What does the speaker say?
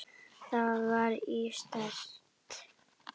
Þar var ég sterk.